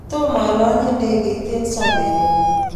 tomo alanye ndekeit eng sobenyu